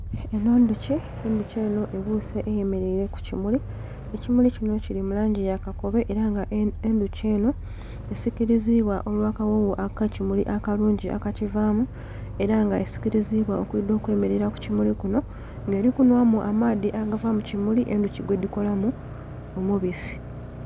Enho ndhuki, endhuki enho ebuse eyemereire kukimuli, ekimuli kinho kilimu langi yakakobe era nga endhuki enho esikirizibwa olwa kagho gho akekimuli akakivamu era nga esikirizibwa okwidha okemerera kukimuli kunho nga eli kunhwa mu amaadhi agava mukimuli endhuki gwe dhikolamu omubisi.